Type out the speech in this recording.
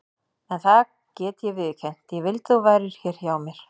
En það get ég viðurkennt: ég vildi að þú værir hér hjá mér.